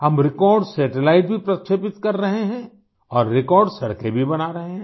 हम record satellite भी प्रक्षेपित कर रहे हैं और रेकॉर्ड सड़कें भी बना रहे हैं